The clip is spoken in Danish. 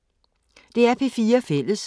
DR P4 Fælles